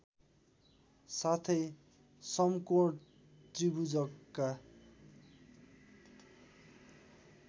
साथै समकोण त्रिभुजका